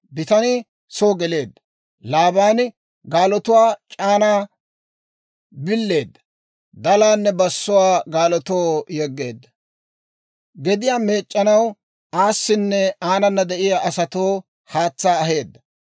Bitanii soo geleedda; Laabaani gaalotuwaa c'aanaa billeedda; dalaanne bassuwaa gaalotoo yegeedda. Gediyaa meec'c'anaw aasinne aanana de'iyaa asatoo haatsaa aheedda;